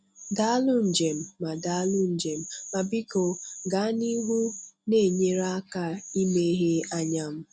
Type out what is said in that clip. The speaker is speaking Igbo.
Daalụ Njem ma Daalụ Njem ma biko gaa n'ihu na-enyere aka imeghe anya m.